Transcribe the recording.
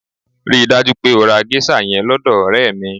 Rí i dájú pé o ra géṣà yẹn lọ́dọ̀ ọ̀rẹ́ mi!